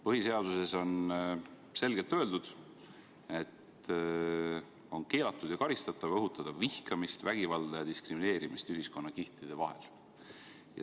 Põhiseaduses on selgelt öeldud, et on keelatud ja karistatav õhutada vihkamist, vägivalda ja diskrimineerimist ühiskonnakihtide vahel.